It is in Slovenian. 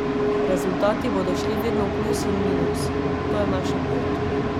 Rezultati bodo šli vedno v plus in minus, to je naša pot.